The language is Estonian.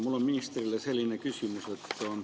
Mul on ministrile selline küsimus.